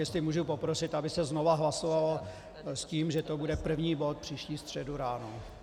Jestli můžu poprosit, aby se znovu hlasovalo s tím, že to bude první bod příští středu ráno.